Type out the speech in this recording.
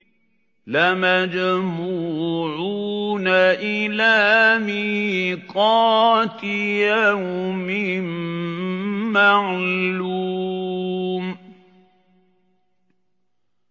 لَمَجْمُوعُونَ إِلَىٰ مِيقَاتِ يَوْمٍ مَّعْلُومٍ